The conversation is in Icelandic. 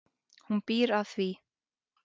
Hún býr að því.